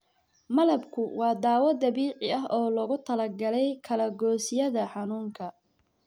Malabku waa dawo dabiici ah oo loogu talagalay kala goysyada xanuunka.